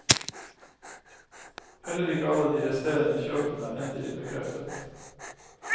Heller ikke alle de resterende kjøpene er endelig bekreftet.